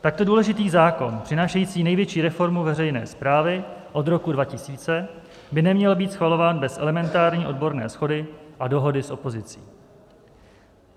Takto důležitý zákon přinášející největší reformu veřejné správy od roku 2000 by neměl být schvalován bez elementární odborné shody a dohody s opozicí.